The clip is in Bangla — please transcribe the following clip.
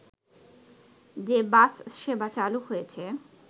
যে বাস সেবা চালু হয়েছে